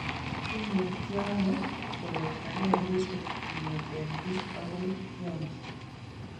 Imutyaanoo koletagei kutik kong'etee biik agoi tyang'ii.